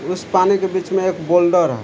उस पानी के बीच में एक बोल्डर है।